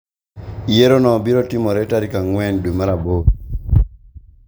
yiero no biro timore tarik ang'en dwe mar aboro